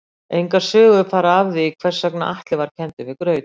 Engar sögur fara af því hvers vegna Atli var kenndur við graut.